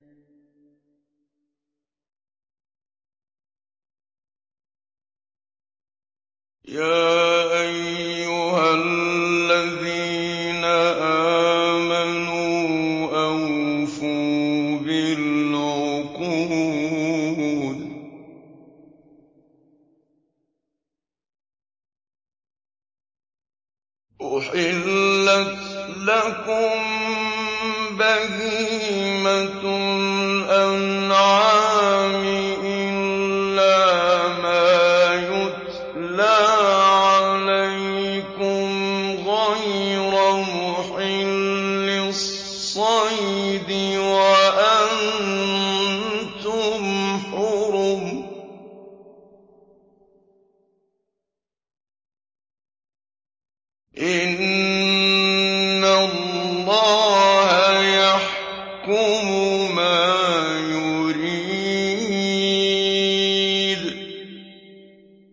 يَا أَيُّهَا الَّذِينَ آمَنُوا أَوْفُوا بِالْعُقُودِ ۚ أُحِلَّتْ لَكُم بَهِيمَةُ الْأَنْعَامِ إِلَّا مَا يُتْلَىٰ عَلَيْكُمْ غَيْرَ مُحِلِّي الصَّيْدِ وَأَنتُمْ حُرُمٌ ۗ إِنَّ اللَّهَ يَحْكُمُ مَا يُرِيدُ